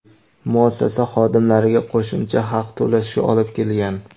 muassasa xodimlariga qo‘shimcha haq to‘lashga olib kelgan.